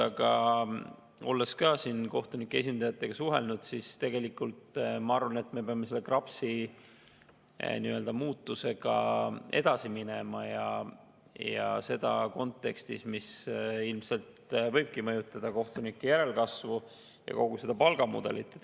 Aga olles ka kohtunike esindajatega suhelnud, ma tegelikult arvan, et me peame KRAPS-i muutmisega edasi minema, ja seda kontekstis, mis ilmselt võibki mõjutada kohtunike järelkasvu ja kogu seda palgamudelit.